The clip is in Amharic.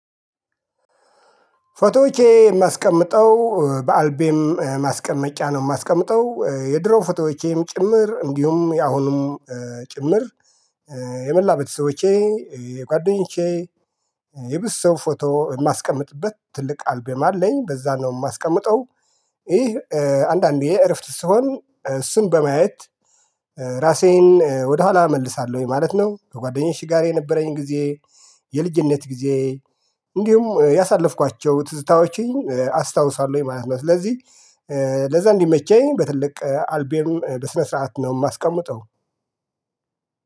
ፎቶዎቼ የማስቀምጠው በአልቤም ማስቀመጫ ነው የማስቀምጠው የድሮ ፎቶዎቼም ጭምር እንዲሁም ያሁንም ጭምር የመላ ቤተሰቦቼ የጓደኞቼ የብዙ ሰው ፎቶ የማስቀምጥበት ትልቅ አልቤም አለኝ በዛ ነው የማስቀምጠው። ይህ አንዳንዴ እረፍት ስሆን እሱን በማየት ራሴን ወደኋላ እመልሳለሁኝ ማለት ነው። ከጓደኛቼ ጋር የነበረኝ ጊዜ የልጅነት ጊዜ እንዲሁም ያሳለፍኳቸው ትዝታዎችን አስታውሳለሁኝ ማለት ነው። ስለዚህ ለዛ እንዲመቸኝ በትልቅ አልቤም በስነ ስርዓት ነው የማስቀምጠው።